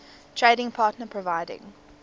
trading partner providing